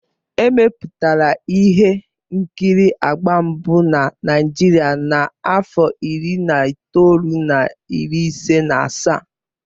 Emepụtara ihe nkiri agba mbụ na Naịjirịa na afọ iri na itoolu na iri ise na asaa.